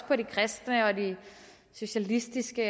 på de kristne og de socialistiske